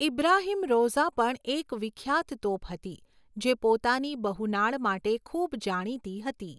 ઇબ્રાહિમ રૌઝા પણ એક વિખ્યાત તોપ હતી જે પોતાની બહુ નાળ માટે ખૂબ જાણીતી હતી.